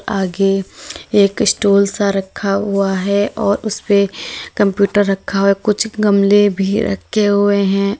आगे एक स्टूल सा रखा हुआ है और उसपे कंप्यूटर रखा हुआ है। कुछ गमले भी रखे हुए हैं।